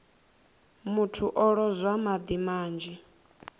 muthu o lozwa madi manzhi